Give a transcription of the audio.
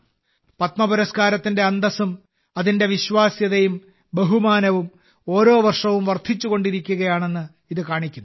പത്മപുരസ്കാരത്തിന്റെ അന്തസ്സും അതിന്റെ വിശ്വാസ്യതയും ബഹുമാനവും ഓരോ വർഷവും വർദ്ധിച്ചുകൊണ്ടിരിക്കുകയാണെന്ന് ഇത് കാണിക്കുന്നു